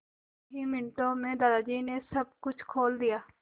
कुछ ही मिनटों में दादाजी ने सब कुछ खोल दिया